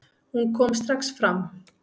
Hún kom strax fram.